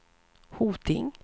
Hoting